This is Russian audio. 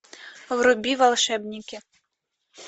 вруби волшебники